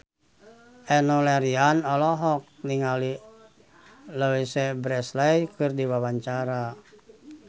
Enno Lerian olohok ningali Louise Brealey keur diwawancara